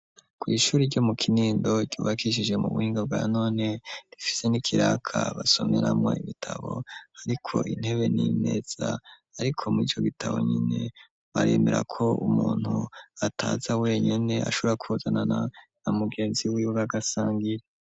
kw' ishuri ryo mu kinindo ryubakishije mu buhinga bwa none, rifise n'ikiraka basomeramwa ibitabo hariko intebe n'imeza, ariko mu ico gitabo nyene baremera ko umuntu ataza wenyene ashobora kuzanana na mugenzi wiwe bagasangira.